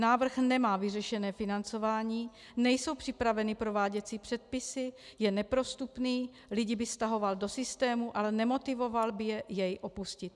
Návrh nemá vyřešené financování, nejsou připraveny prováděcí předpisy, je neprostupný, lidi by stahoval do systému, ale nemotivoval by je jej opustit.